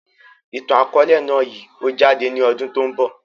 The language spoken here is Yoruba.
Ìtàn akọ̀ọ̀lẹ náà yìí ó jáde ní ọdún tòun bọ̀.